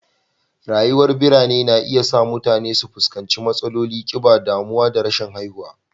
Rayuwar birane na iya sa mutane su fuskanci matsalolin kiba, damuwa da rashin haihuwa